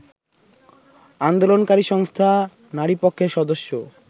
আন্দোলনকারী সংস্থা নারীপক্ষের সদস্য